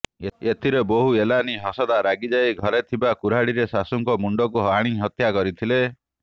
ଏଥିରେ ବୋହୁ ଏଲାନି ହାସଦା ରାଗିଯାଇ ଘରେ ଥିବା କୁରାଢ଼ୀରେ ଶାଶୁଙ୍କ ମୁଣ୍ଡକୁ ହାଣି ହତ୍ୟା କରିଥିଲେ